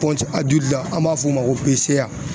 a joli la an b'a fɔ o ma ko